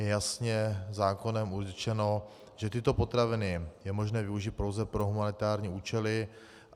Je jasně zákonem určeno, že tyto potraviny je možno využít pouze pro humanitární účely.